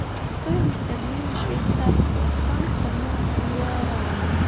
стоимость обмена швейцарского франка на гуарани